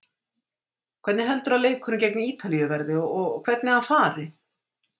Hvernig heldurðu að leikurinn gegn Ítalíu verði og hvernig hann fari?